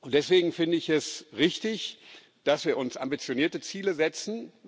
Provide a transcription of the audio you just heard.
Deswegen finde ich es richtig, dass wir uns ambitionierte Ziele setzen.